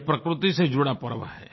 यह प्रकृति से जुड़ा पर्व है